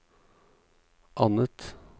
annet